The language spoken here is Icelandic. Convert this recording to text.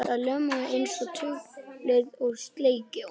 Það ljómaði einsog tungl og skellihló.